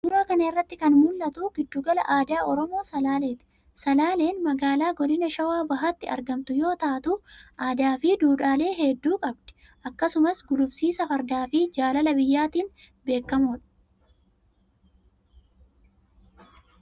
Suuraa kana irratti kan mul'atu Giddugala Aadaa Oromoo Salaalee ti. Salaaleen magaalaa godina Shawaa Bahaatti argamtu yoo taatu aadaa fi dhuudhaalee hedduu qabdi. Akkasumas ,gulufsiisa fardaa fi jaalala biyyaatiin beekamu.